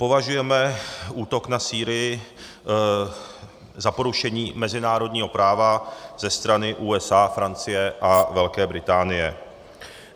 Považujeme útok na Sýrii za porušení mezinárodního práva ze strany USA, Francie a Velké Británie.